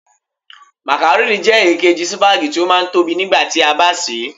Makarónì jẹ́ èkejì sípágì tó máa ń tóbi nígbà tí a bá sè é.